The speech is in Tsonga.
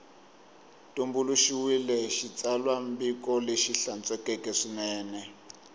tumbuluxiwile xitsalwambiko lexi hlantswekeke swinene